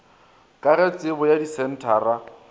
ka ge tebo ya disenthara